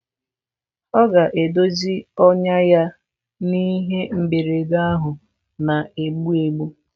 Ọ ga-edozi ọnyá ya n'ihe mberede ahụ na-egbu egbu.